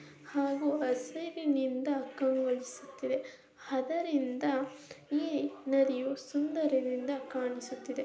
ಹಾಗೂ ಹಸರಿನಿಂದ ಕಂಗಳೋಸುತ್ತಿದೆ. ಅದರಿಂದ ಈ ನದಿಯು ಸುಂದರದಿಂದ ಕಾಣಿಸುತ್ತಿದೆ.